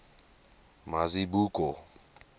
mazibuko